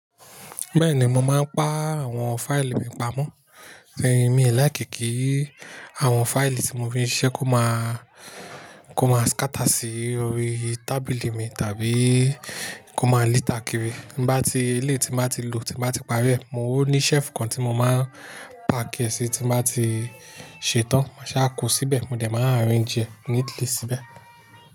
Bẹ́ẹ̀ni mo máa ń pa àwọn fáìlì mi pamọ́, ẹ mi láì kí kí àwọn fáìlì tí mo fi ń ṣiṣẹ́ kó máa, kó máa ṣkátà sí orí tábìlì mi tàbí kó máa litàá kiri. Bá ti, ilé tí ń báa ti lò tí báa ti parí ẹ, o ní shelf kan tí mo máa paàkì ẹsì tí bá ti ṣetán, máa sá ko síbẹ̀, mo dẹ̀ máa ń arrange e neatly síbẹ̀